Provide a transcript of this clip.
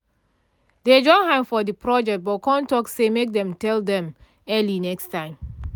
dey join hand for the project but con talk say make dem tell dem early next time